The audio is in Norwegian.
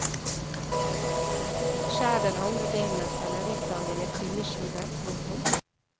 Skjær den andre delen av selleristangen i tynne skiver. punktum